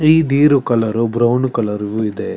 ಈ ದಿರು colour brown colour ಇದೆ.